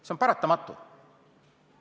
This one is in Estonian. See on paratamatu.